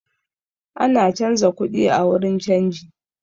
Ana canza kuɗi a wurin canji